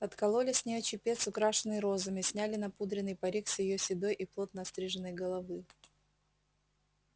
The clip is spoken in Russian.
откололи с нее чепец украшенный розами сняли напудренный парик с её седой и плотно остриженной головы